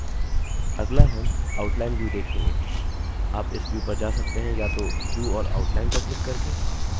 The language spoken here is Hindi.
आप इस व्यू पर जा सकते हैं या तो व्यू और आउटलाइन पर क्लिक करके